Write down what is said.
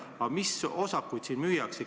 Aga mis osakuid siin müüakse?